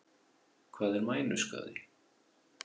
Hvað er mænuskaði?